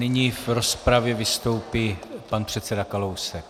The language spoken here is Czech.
Nyní v rozpravě vystoupí pan předseda Kalousek.